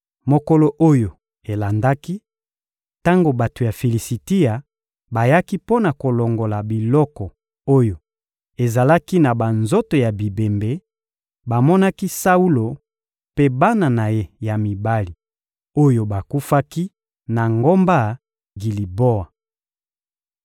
Mokolo oyo elandaki, tango bato ya Filisitia bayaki mpo na kolongola biloko oyo ezalaki na banzoto ya bibembe, bamonaki Saulo mpe bana na ye ya mibali oyo bakufaki na ngomba Giliboa.